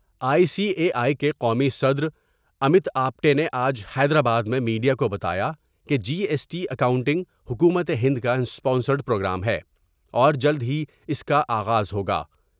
I C A I کے قومی صدر امت آپٹے آج حیدرآباد میں میڈیا کو بتایا کہ جی ایس ٹی اکاؤنٹنگ حکومت ہند کا اسپانسرڈ پروگرام ہے اور جلد ہی اس کا آغاز ہوگا ۔